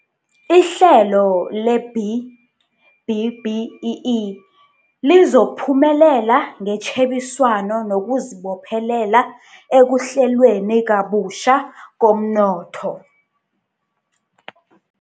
Ihlelo le-B-BBEE lizokuphumelela ngetjhebiswano nokuzibophelela ekuhlelweni kabutjha komnotho.